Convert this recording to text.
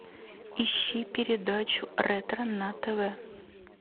ищи передачу ретро на тв